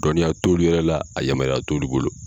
Dɔnniya t'olu yɛrɛ la a yamaruya t'olu bolo.